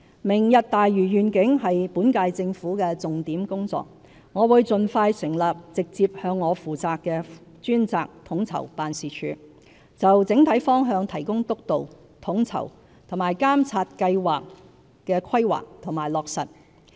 "明日大嶼願景"是本屆政府的重點工作，我會盡快成立直接向我負責的專責統籌辦事處，就整體方向提供督導，統籌並監察計劃的規劃及落實。